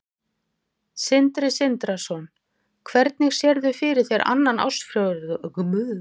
Sindri Sindrason: Hvernig sérðu fyrir þér annan ársfjórðung og síðan restina af árinu?